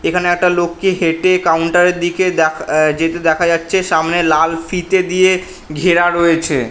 এখানে একটা লোককে হেঁটে কাউন্টার -এর দিকে দা যেতে দেখা যাচ্ছে। সামনে লাল ফিতে দিয়ে ঘেরা রয়েছে ।